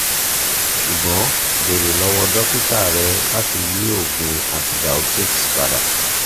ṣugbọn beere lọwọ dokita rẹ lati yi oogun antibiotics pada